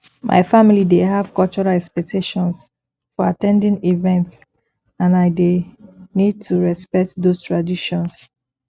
my family dey have cultural expectations for at ten ding events and i dey need to respect those traditions